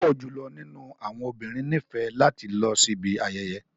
Pupọ julọ ninu awọn obinrin nifẹ lati lọ sibi ayeye.